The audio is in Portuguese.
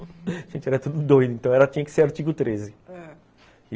A gente era tudo doido, então ela tinha que ser artigo treze, ãh.